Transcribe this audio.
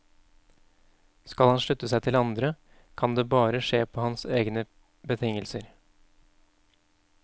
Skal han slutte seg til andre, kan det bare skje på hans egne betingelser.